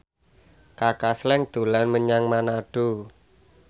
Kaka Slank dolan menyang Manado